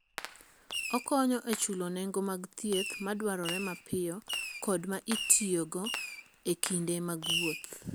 Okonyo e chulo nengo mag thieth madwarore mapiyo kod ma itiyogo e kinde mag wuoth.